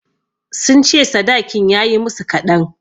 Sun ce sadakin ya yi musu kaɗan.